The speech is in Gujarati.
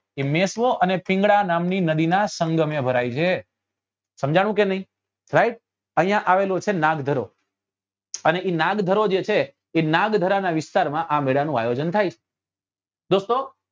કે મેશ્વો અને પિંગલા નદી નાં સંગમે ભરાય છે સમજાણું કે નહિ right અહિયાં આવેલું છે નાગધરો અને એ નાગધરો છે છે એ નાગધરા નાં વિસ્તાર માં આ મેળા નું આયોજન થાય છે